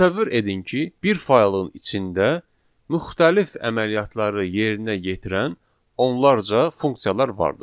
Təsəvvür edin ki, bir faylın içində müxtəlif əməliyyatları yerinə yetirən onlarca funksiyalar vardır.